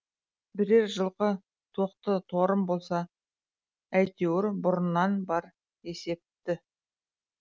бірер жылқы тоқты торым болса әйтеуір бұрыннан бар есепті